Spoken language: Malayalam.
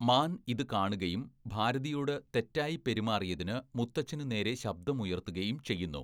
മാൻ ഇത് കാണുകയും ഭാരതിയോട് തെറ്റായി പെരുമാറിയതിന് മുത്തച്ഛനുനേരെ ശബ്ദമുയർത്തുകയും ചെയ്യുന്നു.